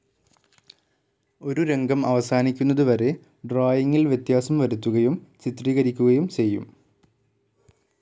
ഒരു രംഗം അവസാനിക്കുന്നതു വരെ ഡ്രായിങ്ങിൽ വ്യത്യാസം വരുത്തുകയും ചിത്രീകരിക്കുകയും ചെയ്യും.